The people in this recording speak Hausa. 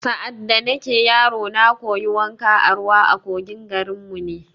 Sa’ad da nake yaro, na koyi wanka a ruwa a kogin garin mu ne